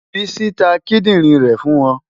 Bísí ta kídìrín rẹ̀ fún wọn.